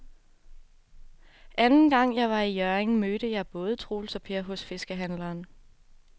Anden gang jeg var i Hjørring, mødte jeg både Troels og Per hos fiskehandlerne.